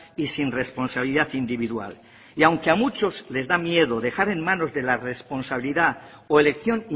y sin responsabilidad individual y aunque a muchos les da miedo dejar en manos de la responsabilidad o elección